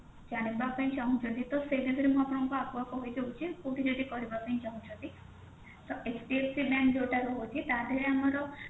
ଜାଣିବା ପାଇଁ ଚାହୁଁଛନ୍ତି ତ ସେ ବିଷୟରେ ଆପଣଙ୍କୁ ଆଗୁଆ କହି ଦଉଛି କୋଉଠି ଯଦି କରିବା ପାଇଁ ଚାହୁଁଛନ୍ତି ତ HDFC bank ଯୋଉଟା ରହୁଛି ତାଦେହେରେ ଆମର